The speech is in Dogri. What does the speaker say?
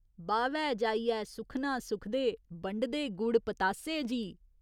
बाह्‌वै जाइयै सुक्खना सुखदे, बंडदे गुड़ पतासे जी।